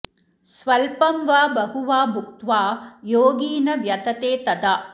स्वल्पं वा बहु वा भुक्त्वा योगी न व्यथते तदा